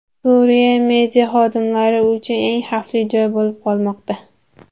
Suriya media xodimlari uchun eng xavfli joy bo‘lib qolmoqda.